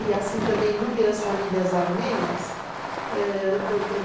E assim também inúmeras famílias armênias ãh, do